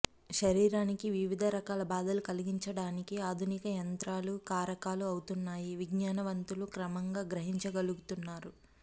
శరీరానికి వివిధ రకాల బాధలు కలిగించడానికే ఆధునిక యంత్రాలు కారకాలు అవుతున్నాయని విజ్ఞానవంతులు క్రమంగా గ్రహించగలుగుతున్నారు